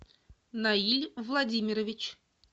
наиль владимирович